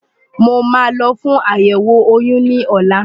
Mo máa lọ fún àyẹ̀wò oyún ní ọ̀la.